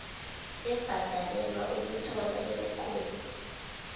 ebhadalelwa ukuthola irekhodi